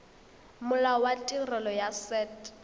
molao wa tirelo ya set